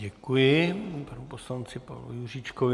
Děkuji panu poslanci Pavlu Juříčkovi.